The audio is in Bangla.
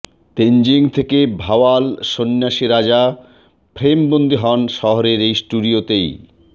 তেনজিং থেকে ভাওয়াল সন্ন্যাসী রাজা ফ্রেমবন্দি হন শহরের এই স্টুডিওতেই